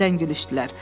Yenidən gülüşdülər.